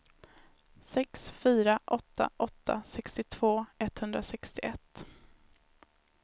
sex fyra åtta åtta sextiotvå etthundrasextioett